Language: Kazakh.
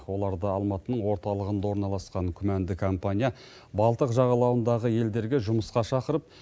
оларды алматының орталығында орналасқан күмәнді компания балтық жағалауындағы елдерге жұмысқа шақырып